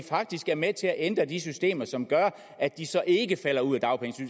faktisk er med til at ændre de systemer som gør at de så ikke falder ud